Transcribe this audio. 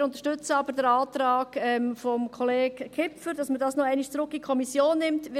Wir unterstützen aber den Antrag von Kollege Kipfer, wonach man dies noch einmal zurück in die Kommission nehmen soll.